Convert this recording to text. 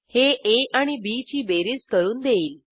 हे आ आणि बी ची बेरीज करून देईल